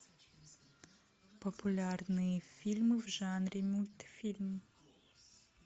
популярные фильмы в жанре мультфильм